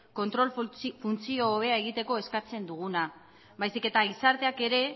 kontrol funtzio hobea egiteko eskatzen duguna baizik eta gizarteak ere